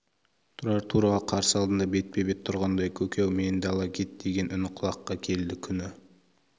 тұрар тура қарсы алдында бетпе-бет тұрғандай көке-ау мені де ала кет деген үні құлаққа келді күні